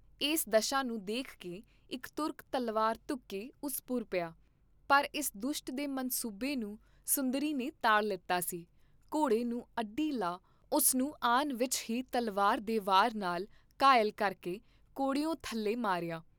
ਇਸ ਦਸ਼ਾ ਨੂੰ ਦੇਖਕੇ ਇਕ ਤੁਰਕ ਤਲਵਾਰ ਧੂਕੇ ਉਸ ਪੁਰ ਪਿਆ, ਪਰ ਇਸ ਦੁਸ਼ਟ ਦੇ ਮਨਸੂਬੇ ਨੂੰ ਸੁੰਦਰੀ ਨੇ ਤਾੜ ਲੀਤਾ ਸੀ, ਘੋੜੇ ਨੂੰ ਅੱਡੀ ਲਾ ਉਸਨੂੰ ਆਨ ਵਿਚ ਹੀ ਤਲਵਾਰ ਦੇ ਵਾਰ ਨਾਲ ਘਾਇਲ ਕਰਕੇ ਘੋੜਿਉਂ ਥੱਲੇ ਮਾਰਿਆ।